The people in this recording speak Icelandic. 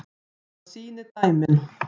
Það sýni dæmin.